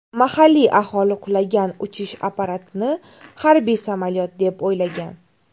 Mahalliy aholi qulagan uchish apparatini harbiy samolyot deb o‘ylagan.